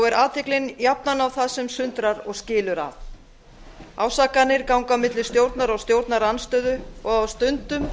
er athyglin jafnan á það sem sundrar og skilur að ásakanir ganga milli stjórnar og stjórnarandstöðu og á stundum